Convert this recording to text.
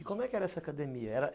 E como é que era essa academia? era...